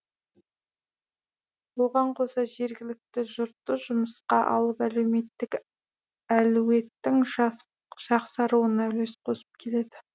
оған қоса жергілікті жұртты жұмысқа алып әлеуметтік әлеуеттің жақсаруына үлес қосып келеді